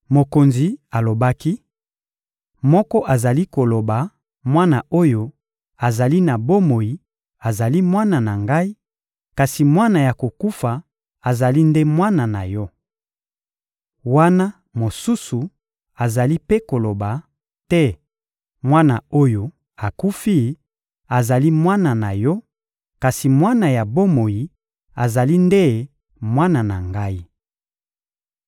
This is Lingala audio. Mokonzi alobaki: — Moko azali koloba: «Mwana oyo azali na bomoi azali mwana na ngai, kasi mwana ya kokufa azali nde mwana na yo!» Wana mosusu azali mpe koloba: «Te! Mwana oyo akufi azali mwana na yo, kasi mwana ya bomoi azali nde mwana na ngai!»